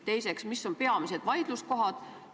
Teiseks, mis on peamised vaidluskohad?